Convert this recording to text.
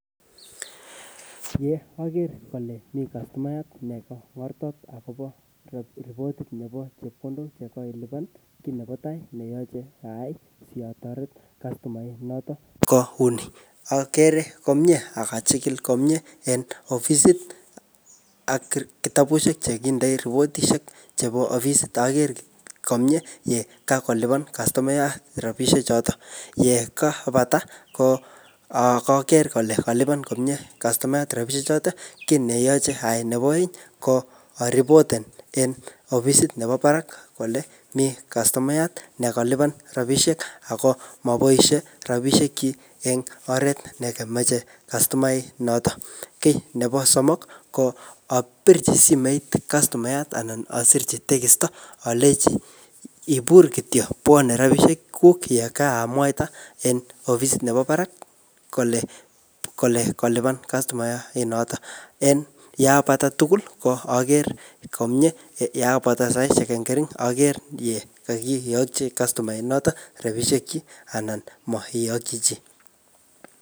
Ye aker kole mi kastomaiyat neka borto akobo ripotit nebo chepkondok che koilipan , kiy nebo tai neyache ayai satoret kastomaiyat notok kouni. Akere komyee akachikil komyee eng ofisit ak ki-kitabushek che kindoi ripotishek chebo ofisit. Aker komyee yekakolipan kastomayat rabisiek chotok. Yekaipata, ko um ko aker kole kalipan komyee rabisiek chotok. Kiy nebo aeng neyache ayai ko aripoten en ofisit nebo barak kole miy kastomaiyat ne kalipan rabisiek ako maboisie rabisiek chik eng oret nekameche kastomaiyat notok. Kiy nebo somok ko apirchi simet kastomaiyat anan asirchi tegisto aleji ibur kityo, bwane rabsiisek yekamwaita en ofisit nebo barak kole-kole kolipan kastomaiyat notok. En yapata tugul, ko aker komyee yepata saishek eng kering aker ye kakiyochi kastomaiyat notok rabisiek chik anan maiyokchi chi.